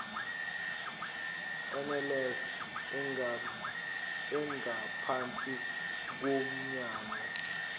nls engaphansi komnyango